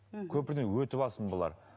мхм көпірден өтіп алсын бұлар